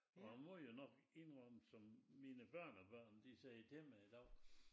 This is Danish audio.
Og jeg må jo nok indrømme som mine børnebørn de sagde derhjemme i dag